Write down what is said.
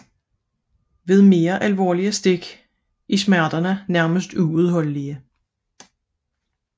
Ved mere alvorlige stik er smerterne nærmest ubærlige